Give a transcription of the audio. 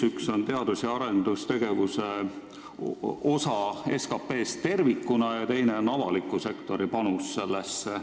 Üks on teadus- ja arendustegevuse osa SKT-s tervikuna ja teine on avaliku sektori panus sellesse.